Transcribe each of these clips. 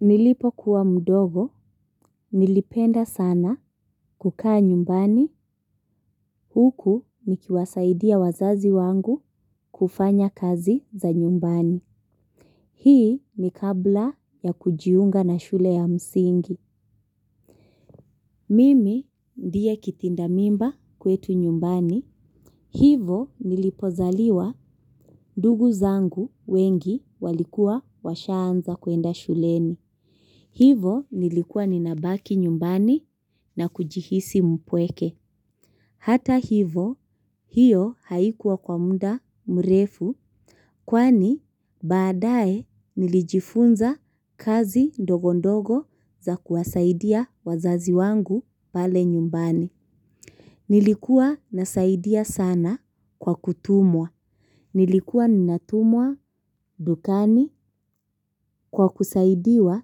Nilipokuwa mdogo, nilipenda sana kukaa nyumbani, huku nikiwasaidia wazazi wangu kufanya kazi za nyumbani. Hii ni kabla ya kujiunga na shule ya msingi. Mimi ndiye kitinda mimba kwetu nyumbani, hivo nilipozaliwa ndugu zangu wengi walikuwa washaanza kuenda shuleni. Hivo nilikuwa ninabaki nyumbani na kujihisi mpweke. Hata hivo hiyo haikuwa kwa muda mrefu kwani baadaye nilijifunza kazi ndogo ndogo za kuwasaidia wazazi wangu pale nyumbani. Nilikuwa nasaidia sana kwa kutumwa. Nilikuwa ninatumwa dukani kwa kusaidiwa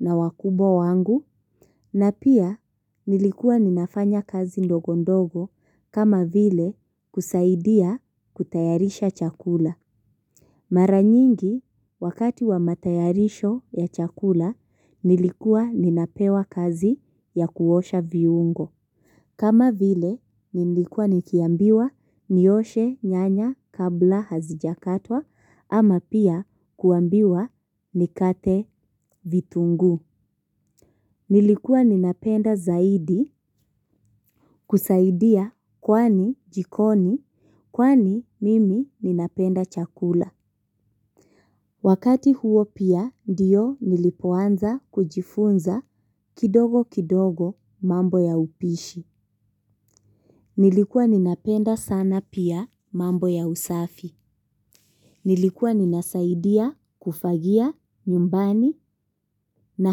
na wakubwa wangu na pia nilikuwa ninafanya kazi ndogo ndogo kama vile kusaidia kutayarisha chakula. Mara nyingi wakati wa matayarisho ya chakula nilikuwa ninapewa kazi ya kuosha viungo. Kama vile nilikuwa nikiambiwa nioshe nyanya kabla hazijakatwa ama pia kuambiwa nikate vitunguu. Nilikuwa ninapenda zaidi kusaidia kwani jikoni, kwani mimi ninapenda chakula. Wakati huo pia ndiyo nilipoanza kujifunza kidogo kidogo mambo ya upishi. Nilikuwa ninapenda sana pia mambo ya usafi. Nilikuwa ninasaidia kufagia nyumbani na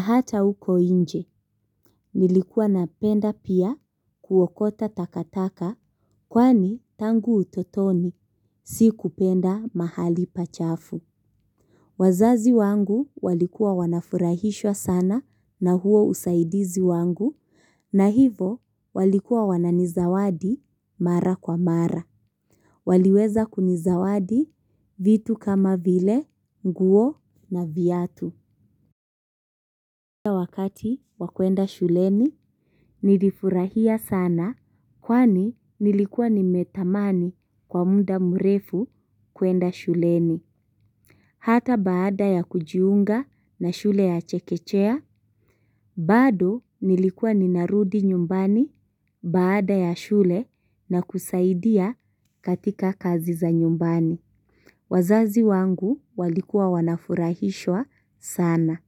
hata uko nje. Nilikuwa napenda pia kuokota takataka kwani tangu utotoni sikupenda mahali pachafu. Wazazi wangu walikuwa wanafurahishwa sana na huo usaidizi wangu, na hivo walikuwa wananizawadi mara kwa mara. Waliweza kunizawadi vitu kama vile nguo na viatu. Wakati wa kuenda shuleni nilifurahia sana kwani nilikua nimetamani kwa mda mrefu kuenda shuleni. Hata baada ya kujiunga na shule ya chekechea, bado nilikuwa ninarudi nyumbani baada ya shule na kusaidia katika kazi za nyumbani. Wazazi wangu walikuwa wanafurahishwa sana.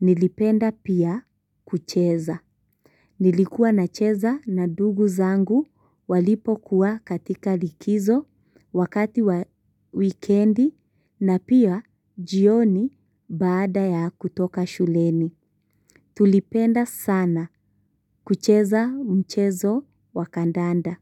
Nilipenda pia kucheza. Nilikuwa nacheza na ndugu zangu walipokuwa katika likizo, wakati wa wikendi na pia jioni baada ya kutoka shuleni. Tulipenda sana kucheza mchezo wa kandanda.